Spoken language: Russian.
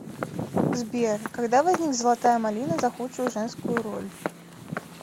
сбер когда возник золотая малина за худшую женскую роль